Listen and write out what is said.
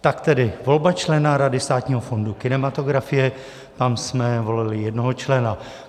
Tak tedy volba člena Rady Státního fondu kinematografie, tam jsme volili jednoho člena.